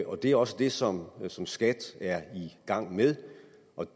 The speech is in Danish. og det er også det som som skat er i gang med